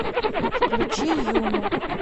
включи юну